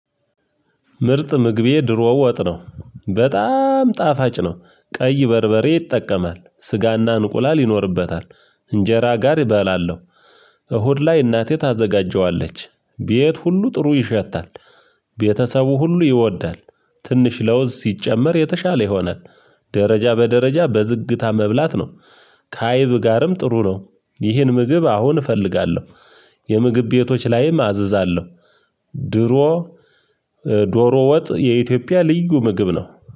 ምርጥ ምግቤ ድሮ ወጥ ነው በጣም ጣፋጭ ነው። ቀይ በርበሬ ይጠቀማል ስጋና እንቁላል ይኖርበታል። እንጀራ ጋር እበላለው። እሁድ ላይ እናቴ ታዘጋጀዋለች ቤት ሁሉ ጥሩ ይሸታል። ቤተሰቡ ሁሉ ይወዳል። ትንሽ ለውዝ ሲጨመር የተሻለ ይሆናል። ደረጃ በደረጃ በዝግታ መብላት ነው። ከአይብ ጋርም ጥሩ ነው። ይህን ምግብ አሁን እፈልጋለሁ። የምግብ ቤቶች ላይም አዝዛለሁ። ድሮ ዶሮ ወጥ የኢትዮጵያ ልዩ ምግብ ነው።